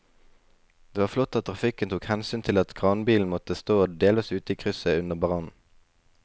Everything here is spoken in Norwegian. Det var flott at trafikken tok hensyn til at kranbilen måtte stå delvis ute i krysset under brannen.